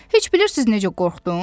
Heç bilirsiz necə qorxdum?